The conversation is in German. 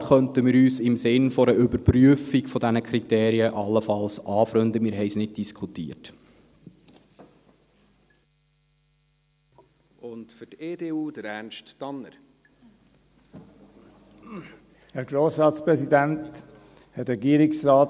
Mit einem Postulat könnten wir uns im Sinn einer Überprüfung dieser Kriterien allenfalls anfreunden, wir haben nicht darüber diskutiert.